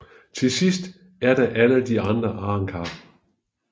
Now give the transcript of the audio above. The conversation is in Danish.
Til sidst er der alle de andre arrancar